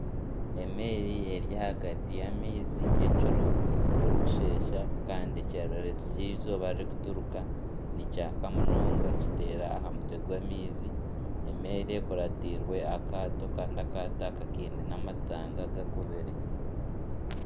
Emeeri eri ahagati y'amaizi nyekiro burikushesha kandi ekyererezi ky'eizooba ririkuturuka nikyaka munonga kiteera aha mutwe gw'amaizi. Emeeri ekuratirwe akaato kandi akaato aka kaine n'amatanga gakubire.